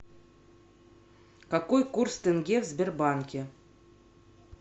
какой курс тенге в сбербанке